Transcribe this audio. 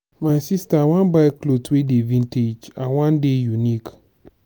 my sister i wan buy cloth wey dey vintage. i wan dey unique.